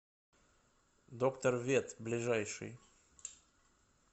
доктор вет ближайший